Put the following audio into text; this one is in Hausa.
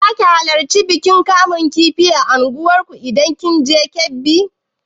Za ki halarci bikin kamun kifi na argungu idan kin je Kebbi?